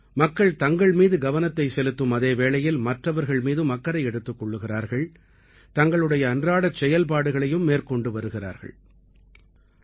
மக்கள் தங்கள் மீது கவனத்தைச் செலுத்தும் அதே வேளையில் மற்றவர்கள் மீதும் அக்கறை எடுத்துக் கொள்கிறார்கள் தங்களுடைய அன்றாடச் செயல்பாடுகளையும் மேற்கொண்டு வருகிறார்கள்